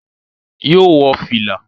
Yóò wọ fìlà